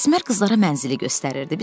Əsmər qızlara mənzili göstərirdi.